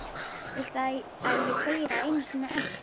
Viltu að ég segi það einu sinni enn?